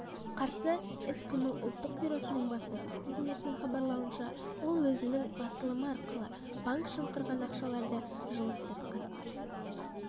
қарсы іс-қимыл ұлттық бюросының баспасөз қызметінің хабарлауынша ол өзінің басылымы арқылы банк жымқырған ақшаларды жылыстатқан